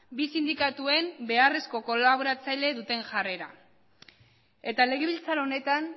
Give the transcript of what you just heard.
bi sindikatuen beharrezko kolaboratzaile duten jarrera eta legebiltzar honetan